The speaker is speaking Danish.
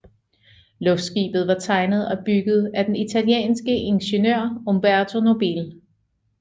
Luftskibet var tegnet og bygget af den italienske ingeniør Umberto Nobile